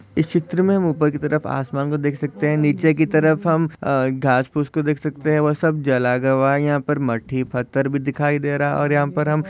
इस चीत्र मे हम उप्पर की तरफ आसमान को देख सकते है। नीचे की तरफ अ हम घास फूस को देख सकते है। वह सब जल गवाह यहाँ पर मट्टी पत्थर भी दिखाई दे रहा और यहाँ पर हम--